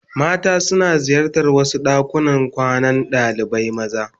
Mata suna ziyartar wasu dakunan kwanan dalibai maza.